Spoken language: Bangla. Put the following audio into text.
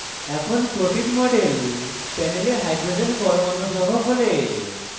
এখন প্রোটিন model panel hydrogen পরমাণু সহ খোলে